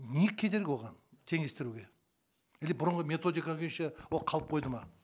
не кедергі оған теңестіруге или бұрынғы методика күйінше ол қалып қойды ма